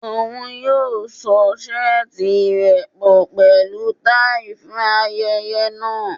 Oun yoo so seeti rẹ pọ pẹlu tai fun ayẹyẹ naa